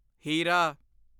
ਹੀਰਾਂ